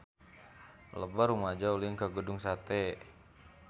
Loba rumaja ulin ka Gedung Sate